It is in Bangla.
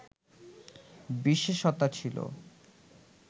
বিশেষতা ছিল